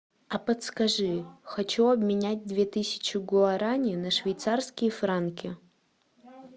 а подскажи хочу обменять две тысячи гуарани на швейцарские франки